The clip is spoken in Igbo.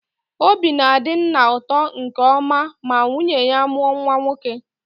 Obi na-adị nna ụtọ nke ọma ma nwunye ya mụọ nwa nwoke.